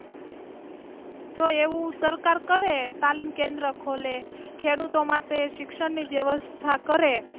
જો એવું સરકાર કરે તાલીમ કેન્દ્ર ખોલે ખેડૂતો માટે શિક્ષણ ની વ્યવસ્થા કરે.